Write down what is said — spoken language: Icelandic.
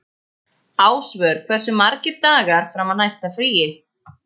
Ásvör, hversu margir dagar fram að næsta fríi?